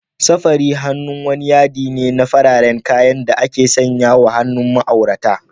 Safari hannu wani yaɗi ne na fararen kayan da ake sawa a hannun ma'aurata.